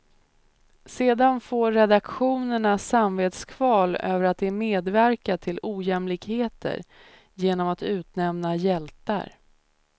Sedan får redaktionerna samvetskval över att de medverkat till ojämlikhet genom att utnämna hjältar.